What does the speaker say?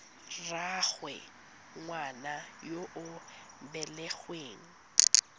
rraagwe ngwana yo o belegweng